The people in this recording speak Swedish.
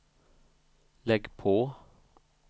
lägg på